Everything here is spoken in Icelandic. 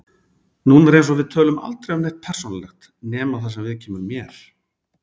Núna er eins og við tölum aldrei um neitt persónulegt nema það sem viðkemur mér.